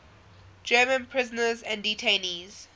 german prisoners and detainees